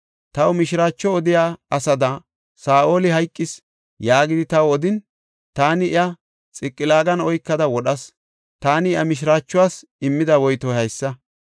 Taw mishiraacho odiya asada, ‘Saa7oli hayqis’ yaagidi taw odin, taani iya Xiqilaagan oykada wodhas; taani iya mishiraachuwas immida woytoy haysa.